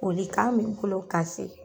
folikan me n bolo k'a se